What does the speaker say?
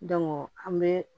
an bɛ